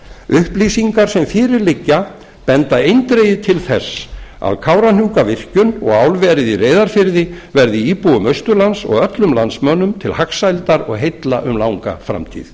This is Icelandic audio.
upplýsingar sem fyrir liggja benda eindregið til þess að kárahnjúkavirkjun og álverið í reyðarfirði verði íbúum austurlands og öllum landsmönnum til hagsældar og heilla um langa framtíð